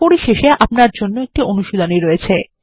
পরিশেষে আপনার জন্য একটি অনুশীলনী রয়েছে